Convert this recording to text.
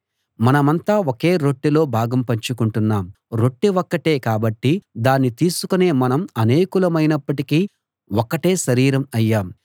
మనమంతా ఒకే రొట్టెలో భాగం పంచుకొంటున్నాం రొట్టె ఒక్కటే కాబట్టి దాన్ని తీసుకొనే మనం అనేకులమైనప్పటికీ ఒక్కటే శరీరం అయ్యాం